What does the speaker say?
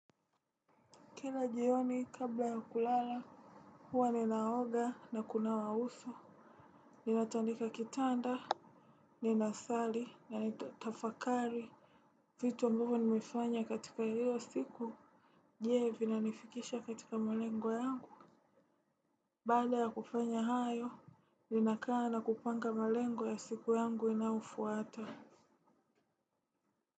Kila jioni kabla ya kulala, huwa ninaoga na kunawa uso, ninatandika kitanda, ninasali na nitafakari. Vitu ambavyo nimefanya katika hilo siku, je? Vinanifikisha katika malengo yangu? Baada ya kufanya hayo ninakaa na kupanga malengo ya siku yangu inayofuata.